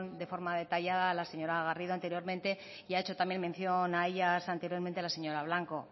de forma detallada la señora garrido anteriormente y ha hecho también mención a ellas anteriormente la señora blanco